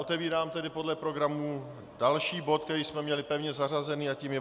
Otevírám tedy podle programu další bod, který jsme měli pevně zařazený, a tím je